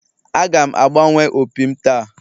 Aga m agbanwe opi m taa